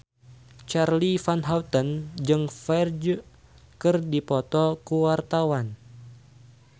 Charly Van Houten jeung Ferdge keur dipoto ku wartawan